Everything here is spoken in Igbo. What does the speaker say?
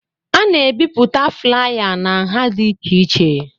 A na-ebipụta flaya na nha dị iche iche